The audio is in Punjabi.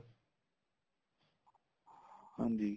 ਹਾਂਜੀ